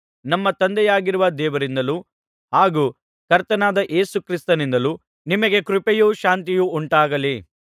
ನಮ್ಮ ತಂದೆಯಾಗಿರುವ ದೇವರಿಂದಲೂ ಹಾಗೂ ಕರ್ತನಾದ ಯೇಸು ಕ್ರಿಸ್ತನಿಂದಲೂ ನಿಮಗೆ ಕೃಪೆಯೂ ಶಾಂತಿಯೂ ಉಂಟಾಗಲಿ